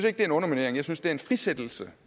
at det er en underminering jeg synes at det er en frisættelse